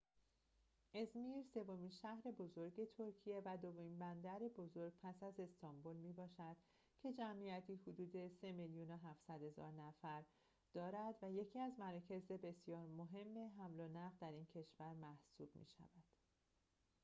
ازمیر سومین شهر بزرگ ترکیه و دومین بندر بزرگ پس از استانبول می‌باشد که جمعیتی حدود ۳.۷ میلیون نفر دارد و یکی از مراکز بسیار مهم حمل و نقل در این کشور محسوب می‌شود